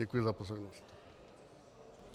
Děkuji za pozornost.